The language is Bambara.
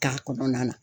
K'a kɔnɔna na